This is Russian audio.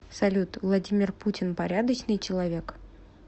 салют владимир путин порядочный человек